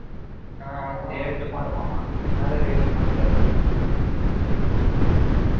அவன் date மாறுமாம அதுனால reading மாத்தி தான் எழுதணும் ஆமா